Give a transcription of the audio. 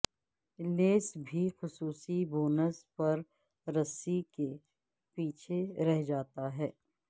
لیس بھی خصوصی بوبنز پر رسی کے پیچھے رہ جاتا ہے